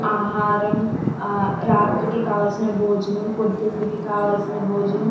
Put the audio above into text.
ఆహారం హ రాత్రికి కావాల్సిన భోజనం పొద్దున్నకి కావాల్సిన భోజనం --